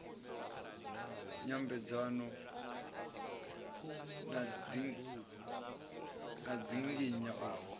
nyambedzano na u dzinginya u